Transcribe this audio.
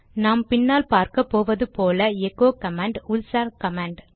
நாம் பின்னால் பார்க்கப்போவது போல எகோ கமாண்ட் உள்சார் கமாண்ட்